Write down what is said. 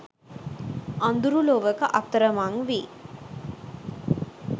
අඳුරු ලොවක අතරමං වී